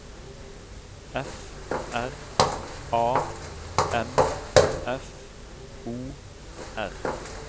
F R A M F O R